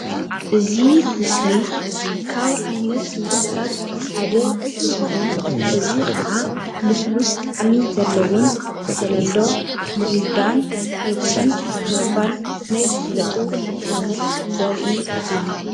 እዚ ምስሊ ልስሉስ መስተ ኮይኑ ሚሪንዳን ፔፕስን ይርከብዎም።